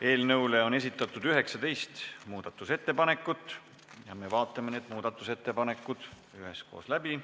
Eelnõu kohta on esitatud 19 muudatusettepanekut ja me vaatame need muudatusettepanekud üheskoos läbi.